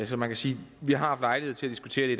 så man kan sige at vi har haft lejlighed til at diskutere det